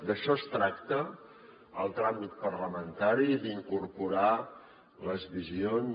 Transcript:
d’això tracta el tràmit parlamentari d’incorporar hi les visions